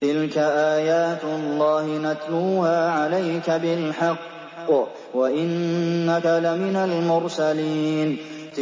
تِلْكَ آيَاتُ اللَّهِ نَتْلُوهَا عَلَيْكَ بِالْحَقِّ ۚ وَإِنَّكَ لَمِنَ الْمُرْسَلِينَ